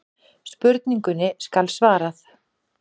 Spurningunni skal svarað.